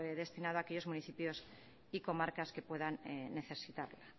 destinado a aquellos municipios y comarcas que puedan necesitarlo